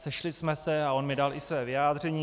Sešli jsme se a on mi dal i své vyjádření.